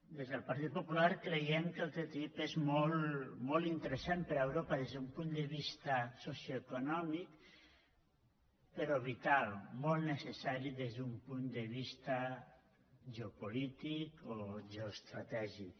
des del partit popular creiem que el ttip és molt interessant per a europa des d’un punt de vista socioeconòmic però vital molt necessari des d’un punt de vista geopolític o geoestratègic